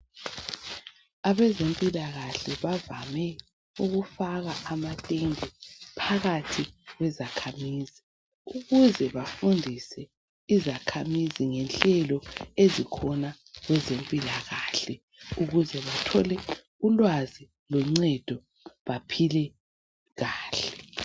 Abezempilakahle bavame ukufaka ama tende phakathi kwezakhamizi ukuze bafundise izakhamizi ngenhlelo ezikhona kweze mpilakahle ukuze bathole ulwazi loncedo baphile kahle.